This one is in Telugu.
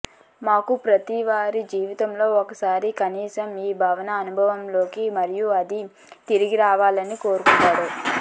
మాకు ప్రతి వారి జీవితంలో ఒకసారి కనీసం ఈ భావన అనుభవంలోకి మరియు అది తిరిగి వెళ్ళాలని కోరుకుంటాడు